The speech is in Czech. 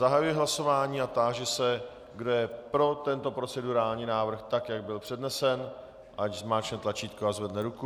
Zahajuji hlasování a táži se, kdo je pro tento procedurální návrh, tak jak byl přednesen, ať zmáčkne tlačítko a zvedne ruku.